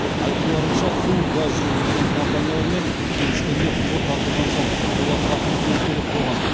айтуларынша су газ жүргізілген компаниялармен келіскенде құбыр тартылған соң олар тас төсеуі керек болған